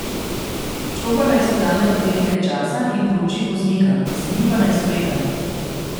Štopar naj si vzame tudi nekaj časa in prouči voznika, sedi pa naj spredaj.